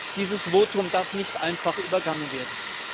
1. Dieses Votum darf nicht einfach übergangen werden!